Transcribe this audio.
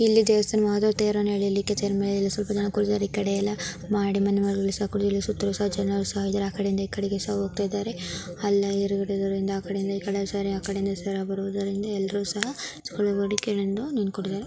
ಇಲ್ಲಿ ದೇವಸ್ಥಾನವು ತೇರನ್ನು ಏಲಿಯಲಿಕ್ಕೆ ಆ ಕಡೆ ಇಂದ ಈ ಕಡೆಗೆ ಸಹ ಹೋತ ಇದಾರೆ.